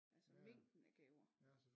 Altså mængden af gaver